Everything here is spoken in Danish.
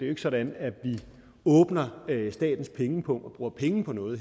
er sådan at vi åbner statens pengepung og bruger penge på noget